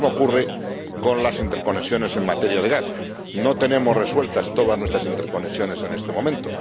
Pero lo mismo ocurre con las interconexiones en materia de gas no tenemos resueltas todas nuestras interconexiones en este momento.